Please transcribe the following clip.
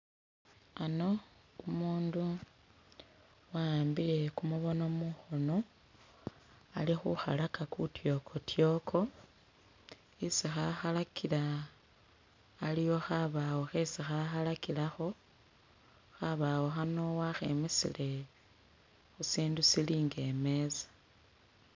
Ano umundu waambile kumubono mukhono ali'khukhalaka kutyokotyoko, isi khakhalakila iliwo khabawo khesi khakhalakilakho khabawo khano wakhemisile khusindu silinga imeza